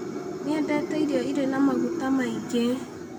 Ndiendete irio irĩ na maguta maingĩ.